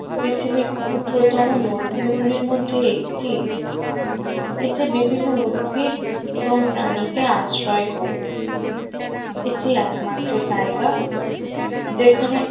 পৃথিবীর ক্ষুদ্রতম মরুভূমি গুলির মধ্যে একটি এতে বিভিন্ন উদ্ভিদ এবং প্রাণীকে আশ্রয় করে এটি একমাত্র জায়গা যেখানে